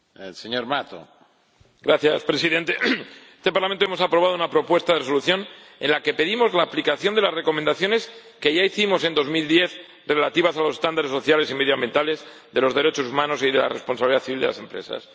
Señor Presidente, en este Parlamento hemos aprobado una propuesta de Resolución en la que pedimos la aplicación de las recomendaciones que ya hicimos en 2010, relativas a los estándares sociales y medioambientales, los derechos humanos y la responsabilidad civil de las empresas.